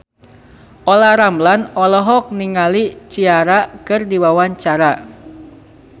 Olla Ramlan olohok ningali Ciara keur diwawancara